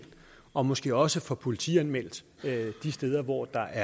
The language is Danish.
og måske også få politianmeldt de steder hvor der